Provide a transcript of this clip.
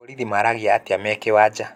Aborithi maaranagĩria atĩa me kĩwanja?